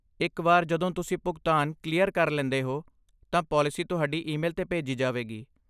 ਇੱਕ ਵਾਰ ਜਦੋਂ ਤੁਸੀਂ ਭੁਗਤਾਨ ਕਲੀਅਰ ਕਰ ਲੈਂਦੇ ਹੋ, ਤਾਂ ਪਾਲਿਸੀ ਤੁਹਾਡੀ ਈਮੇਲ 'ਤੇ ਭੇਜੀ ਜਾਵੇਗੀ।